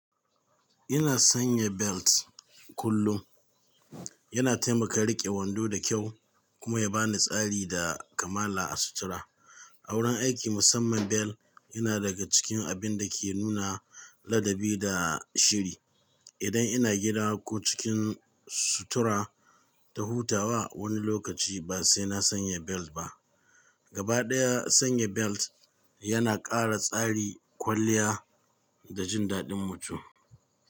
Ina sanya belt kullum. Yana taimaka riƙe wando da kyau kuma ya bani tsari da kamala a sutura. A wurin aiki musamman belt yana daga cikin abin da ke nuna ladabi da shiri. Idan ina gida ko cikin sutura ta hutawa wani lokaci ba sai na sanya belt ba. Gabaɗaya sanya belt yana ƙara tsari, kwalliya da jin daɗin mutum.